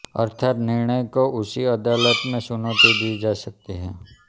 अर्थात् निर्णय को उंची अदालतों में चुनौती दी जा सकती है